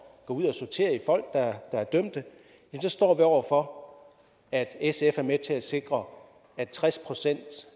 gå ud og sortere i folk der er dømte så står vi over for at sf er med til at sikre at tres procent